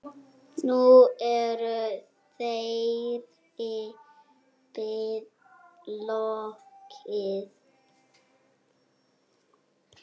Nú er þeirri bið lokið.